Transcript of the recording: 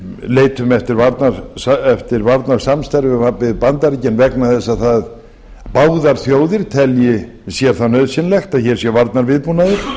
leitum eftir varnarsamstarfi við bandaríkin vegna þess að báðar þjóðir telji sér það nauðsynlegt að hér sé varnarviðbúnaður